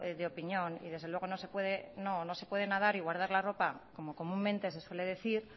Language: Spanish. de opinión y desde luego no se puede nadar y guardar la ropa como comúnmente se suele decir